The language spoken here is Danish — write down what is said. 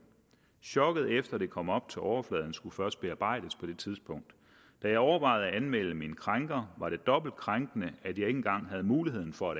chokket efter det kom op til overfladen og skulle først bearbejdes på det tidspunkt da jeg overvejede at melde min krænker var det dobbelt krænkende at jeg ikke engang havde muligheden for